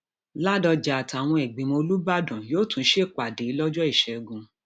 ládọjà àtàwọn ìgbìmọ olùbàdàn yóò tún ṣèpàdé lọjọ ìṣẹgun